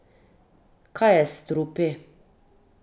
Kaj je s strupi?